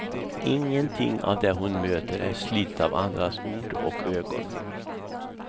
Ingenting av det hon möter är slitet av andras ord och ögon.